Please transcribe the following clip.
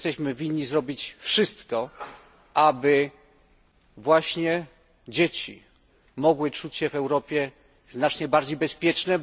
Winniśmy zrobić wszystko, aby właśnie dzieci mogły czuć się w Europie znacznie bardziej bezpieczne.